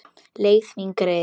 Leið mín greið.